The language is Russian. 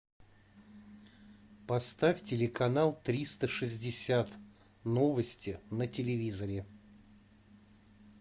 поставь телеканал триста шестьдесят новости на телевизоре